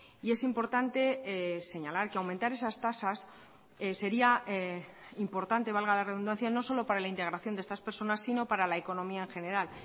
y es importante señalar que aumentar esas tasas sería importante valga la redundancia no solo para la integración de estas personas sino para la economía en general